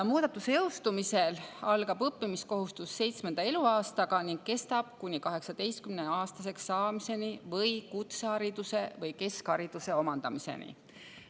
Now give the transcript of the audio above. Muudatuse jõustumisel algab õppimiskohustus seitsmenda eluaastaga ning kestab kuni 18-aastaseks saamiseni või kutsehariduse või keskhariduse omandamiseni.